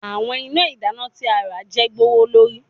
Awọn ina idana ti a ra je gbowolori